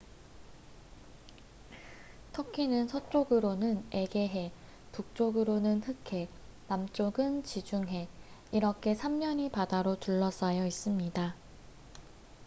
터키는 서쪽으로는 에게해 북쪽으로는 흑해 남쪽은 지중해 이렇게 3면이 바다로 둘러싸여 있습니다